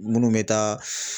Munnu bɛ taa